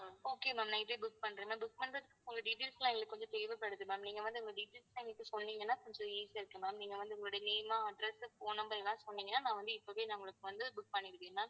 okay ma'amnight ஏ book பண்றேன் ma'am book பண்றதுக்கு உங்க details எல்லாம் எங்களுக்கு கொஞ்சம் தேவைப்படுது ma'am நீங்க வந்து உங்க details எனக்கு சொன்னீங்கன்னா கொஞ்சம் easy ஆ இருக்கும் ma'am நீங்க வந்து உங்களுடைய name address phone number ஏதாவது சொன்னீங்கன்னா நான் வந்து இப்பவே உங்களுக்கு வந்து book பண்ணிடுவேன் ma'am